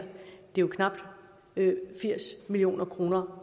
det er knap firs million kroner